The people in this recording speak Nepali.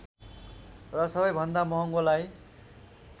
र सबैभन्दा महँगोलाई